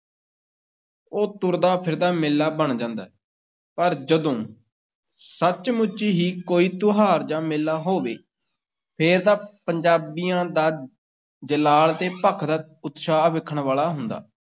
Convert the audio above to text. ਉਹ ਤੁਰਦਾ-ਫਿਰਦਾ ਮੇਲਾ ਬਣ ਜਾਂਦਾ ਹੈ, ਪਰ ਜਦੋਂ ਸੱਚ-ਮੁੱਚ ਹੀ ਕੋਈ ਤਿਉਹਾਰ ਜਾਂ ਮੇਲਾ ਹੋਵੇ, ਫੇਰ ਤਾਂ ਪੰਜਾਬੀਆਂ ਦਾ ਜਲਾਲ ਤੇ ਭਖਦਾ ਉਤਸ਼ਾਹ ਵੇਖਣ ਵਾਲਾ ਹੁੰਦਾ।